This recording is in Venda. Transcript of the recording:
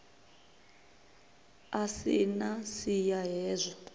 a si na siya hezwi